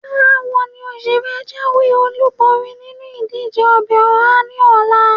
Báwo ni ó ṣe fẹ́ jáwé-olúborí nínú ìdíje ọbẹ̀ ọhá ní ọ̀la?